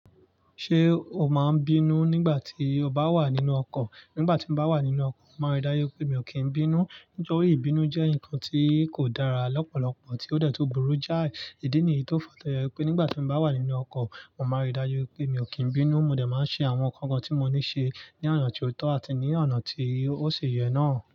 Ṣé o máa n bínú nígbà tí ọ bá wà nínú ọkọ̀? Nígbà tí mo bá wà nínú ọkọ̀, mo máa ń rí dájú pé mi ò kí n bínú. Nítorí ìbínú jẹ́ nǹkan tí kò dára lọ́pọ̀lọpọ̀ tí ó detu burú jáì. Idi nìyí tó fa to jẹ wi pé nígbà tí mo bá wà nínú ọkọ̀, mo máa ń rí dájú pé mi ò kí n bínú. Mo dẹ̀ máa ń ṣe àwọn nnkan kan tí mo ní ṣe ní ọ̀nà tió tọ́ àti ní ọ̀nà tí ó ṣi yẹ náà.